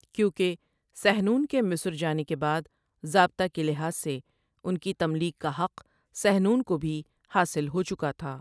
کیونکہ سحنون کے مصر جانے کے بعد ضابطہ کے لحاظ سے ان کی تملیک کا حق سحنون کو بھی حاصل ہوچکا تھا ۔